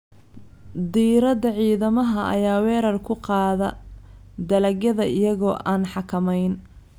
Diirada ciidamada ayaa weerar ku qaada dalagyada iyaga oo aan xakameyn.